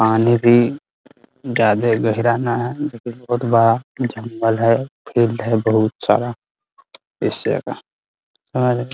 पानी भी ज्यादा गहरा ने है जो कि बहोत बड़ा जंगल है है बहुत सारा एशिया का और --